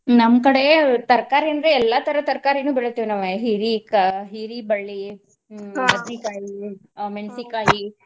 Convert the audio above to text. ನಮ್ಮ್ ಕಡೆ ತರಕಾರಿ ಅಂದ್ರೆ ಎಲ್ಲಾ ತರ ತರಕಾರಿನು ಬೆಳಿತೇವ್ ನಾವ್ ಹೀರಿಕಾ~ ಹೀರಿಬಳ್ಳಿ ಹ್ಮ್ .